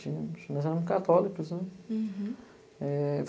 Tínhamos, nós éramos católicos, né? Hurum.